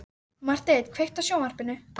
Marteinn, kveiktu á sjónvarpinu.